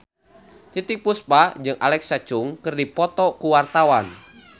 Titiek Puspa jeung Alexa Chung keur dipoto ku wartawan